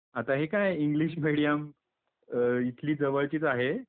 आता हे काय इंग्लिश, मिडीयम, इथली जवळचीच आहे .